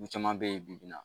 Du caman bɛ ye bi